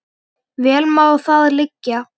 Vel má það liggja.